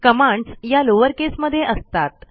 commands या lowercase मध्ये असतात